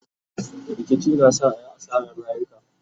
rikici na sa ayi asarar rayuka